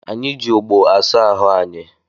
Anyị ji ogbo asa ahụ anyị